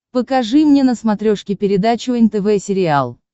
покажи мне на смотрешке передачу нтв сериал